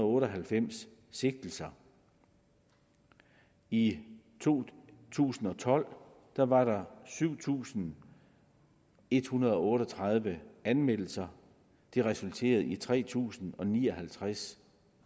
otte og halvfems sigtelser i to tusind og tolv var var der syv tusind en hundrede og otte og tredive anmeldelser det resulterede i tre tusind og ni og halvtreds